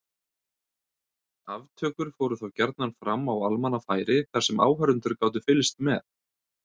Aftökur fóru þá gjarnan fram á almannafæri þar sem áhorfendur gátu fylgst með.